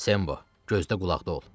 Sembo, gözdə-qulaqda ol.